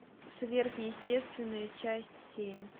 сверхъестественное часть семь